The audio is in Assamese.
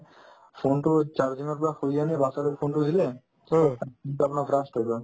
phone তো charging ৰ পৰা খুলি আনি batches তোক phone তো দিলে yawing তাৰমানে blast হৈ গ'ল